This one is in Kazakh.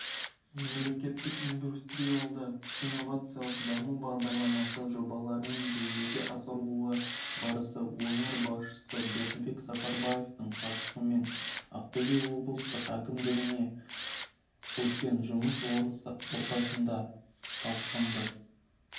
мемлекеттік индустриялды-инновациялық даму бағдарламасы жобаларының жүзеге асырылу барысы өңір басшысы бердібек сапарбаевтың қатысуымен ақтөбе облыстық әкімдігінде өткен жұмыс отырысында талқыланды